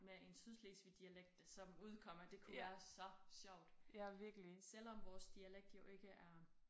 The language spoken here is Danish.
Med en Sydslesvigdialekt som udkommer det kunne være så sjovt. Selvom vores dialekt jo ikke er